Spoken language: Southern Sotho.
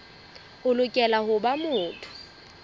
o lokela ho ba motho